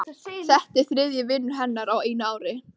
Þetta er þriðji vinur hennar á einu ári.